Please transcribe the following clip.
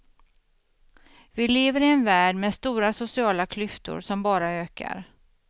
Vi lever i en värld med stora sociala klyftor som bara ökar.